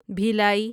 Bhilai